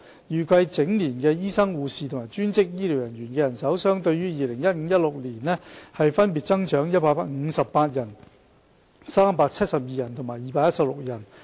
預計整年醫生、護士及專職醫療人員的人手相對於 2015-2016 年度分別增長158人、372人及216人。